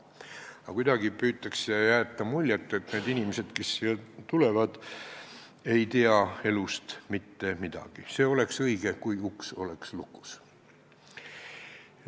Aga kuidagi püütakse jätta muljet, et need inimesed, kes siia tulevad, ei tea elust mitte midagi, oleks õige, kui uks oleks lukus.